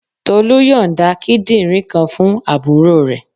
Tolu yonda kíndìnrín kan fún àbúrò rẹ.